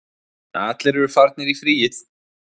Allir eru farnir í fríið